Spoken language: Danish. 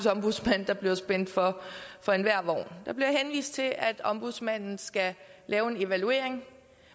ombudsmand der bliver spændt for for enhver vogn der bliver henvist til at ombudsmanden skal lave en evaluering